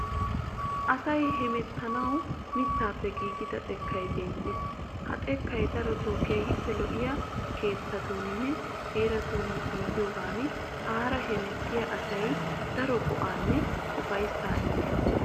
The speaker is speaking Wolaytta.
Asay hemettanawu mittaappe giigida xekkay beettees. Ha xekkay darotoo keehippe lo'iya keettatuuninne heeratun giigiyogan aara hemettiya asaassi daro go'aanne ufayissaaa immees.